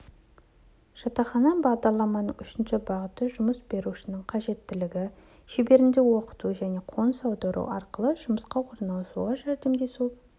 жатақхана бағдарламаның үшінші бағыты жұмыс берушінің қажеттілігі шеңберінде оқыту және қоныс аудару арқылы жұмысқа орналасуға жәрдемдесу